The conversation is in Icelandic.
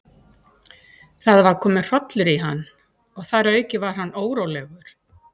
Það var kominn hrollur í hann, og þar að auki var hann órólegur.